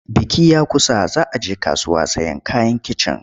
Biki ya kusa za a je kasuwa sayen kayan kicin.